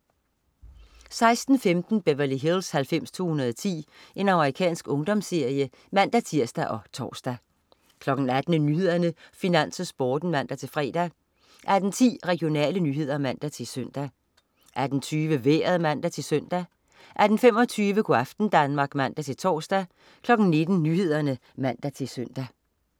16.15 Beverly Hills 90210. Amerikansk ungdomsserie (man-tirs og tors) 18.00 Nyhederne, Finans, Sporten (man-fre) 18.10 Regionale nyheder (man-søn) 18.20 Vejret (man-søn) 18.25 Go' aften Danmark (man-tors) 19.00 Nyhederne (man-søn)